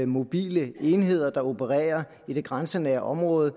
mobile enheder der opererer i det grænsenære område